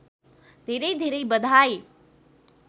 धेरै धेरै बधाई